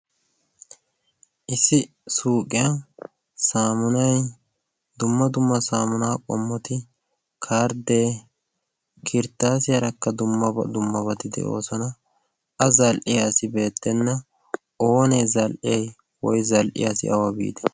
issi suuqiya saamunay dumma dumma saamunaa qommoti karddee kirttaasi aarakka dummabati de"oosona a zal"iyaasi beettenna oonee zal"ee woy zal"iyaasi awa biite